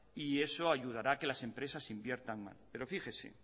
y eso ayudará que las empresas inviertan más pero fíjese